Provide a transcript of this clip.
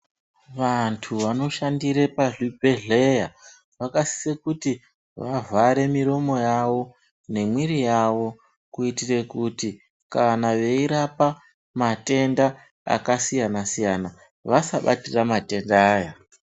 Vantu vanoshandire pazvibhedhleya vakasise kuti vavhare miromo yavo nemwiri yavo. Kuitire kuti kana veirapa matenda akasiyana-siyana vasabatira matenda aya.